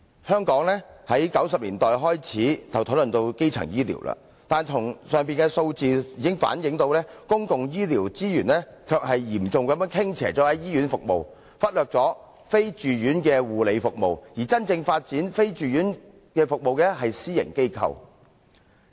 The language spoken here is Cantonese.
香港自1990年代開始討論基層醫療，但從上述的數字反映，公共醫療資源卻是嚴重傾斜於醫院服務，忽略了非住院護理服務，而真正發展非住院服務的是私營機構。